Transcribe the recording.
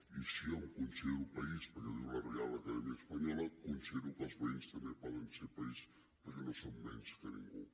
i si jo em considero país perquè ho diu la real academia española considero que els veïns també poden ser país perquè no són menys que ningú